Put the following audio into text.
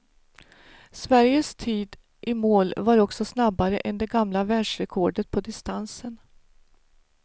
Sveriges tid i mål var också snabbare än det gamla världsrekordet på distansen.